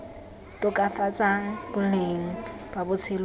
tokafatsang boleng ba botshelo ba